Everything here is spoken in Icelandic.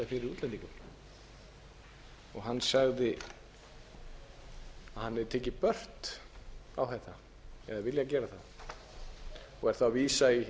og hann sagði að hann hefði tekið burt á þetta eða viljað gera það og er þá að vísa í